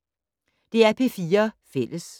DR P4 Fælles